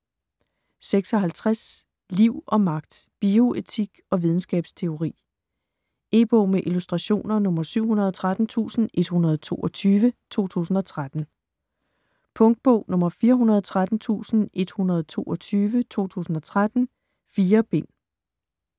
56 Liv & magt: bioetik og videnskabsteori E-bog med illustrationer 713122 2013. Punktbog 413122 2013. 4 bind.